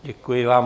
Děkuji vám.